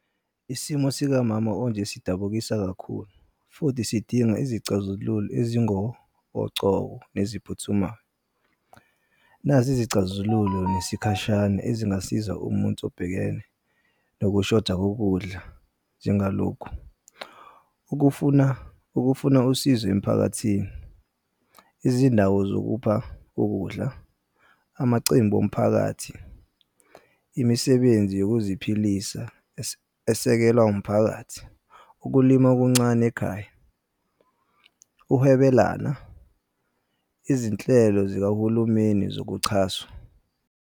Isimo sikamama onje sidabukisa kakhulu, futhi sidinga izicazululo ezingokocobo neziphuthumayo. Nazi izicazululo nesikhashane ezingasiza umuntu obhekene nokushoda kokudla njengalokhu. Ukufuna ukufuna usizo emphakathini, izindawo zokupha ukudla, amacimbi omphakathi, imisebenzi yokuziphilisa esekelwa umphakathi, ukulima okuncane ekhaya, uhwebelana, izinhlelo zikahulumeni zokuchaswa.